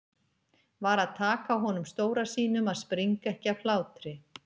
Varð að taka á honum stóra sínum að springa ekki af hlátri.